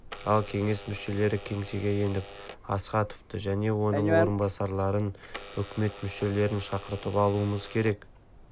ал кеңес мүшелері кеңсеге еніп астаховты және оның орынбасарларын үкімет мүшелерін шақыртып алуымыз керек